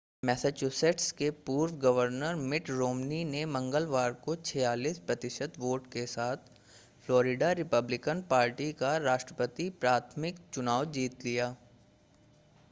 Massachusetts के पूर्व governor Mitt Romney ने मंगलवार को 46 प्रतिशत वोट के साथ फ्लोरिडा रिपब्लिकन पार्टी का राष्ट्रपति प्राथमिक चुनाव जीत लिया